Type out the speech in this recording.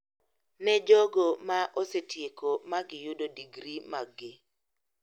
Ne jogo ma osetieko ma giyudo digri maggi.